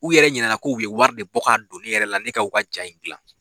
U yɛrɛ ɲinɛna k'u ye wari de bɔ ka don ne yɛrɛ la ne kaw ka ja in dilan.